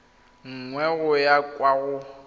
nngwe go ya kwa go